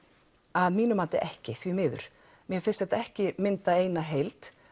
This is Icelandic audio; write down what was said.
að mínu mati ekki því miður mér finnst þetta ekki mynda eina heild